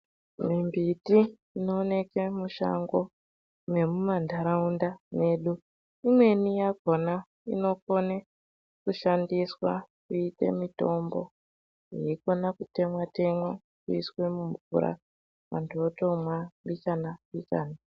Mimbiti inooneke mushango nemumanharaunda medu imweni yakona inokone kushandiswa kuite mitombo yekona kutemwa temwa woiswe mumvura anhu eitomwa mbichana-mbichana.